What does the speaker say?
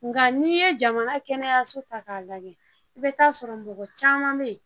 Nga n'i ye jamana kɛnɛyaso ta k'a lajɛ i bɛ taa sɔrɔ mɔgɔ caman bɛ yen